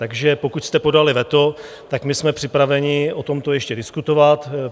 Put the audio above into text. Takže pokud jste podali veto, tak my jsme připraveni o tomto ještě diskutovat.